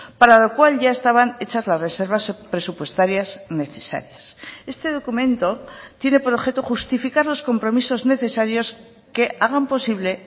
para lo cual ya estaban hechas las reservas presupuestarias necesarias este documento tiene por objeto justificar los compromisos necesarios que hagan posible